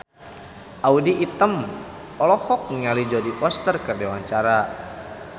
Audy Item olohok ningali Jodie Foster keur diwawancara